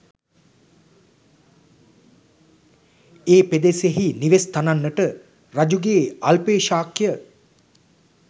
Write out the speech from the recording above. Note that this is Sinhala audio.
ඒ පෙදෙසෙහි නිවෙස් තනන්නට රජුගේ අල්පේශාක්‍ය